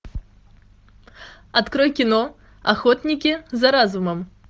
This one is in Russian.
открой кино охотники за разумом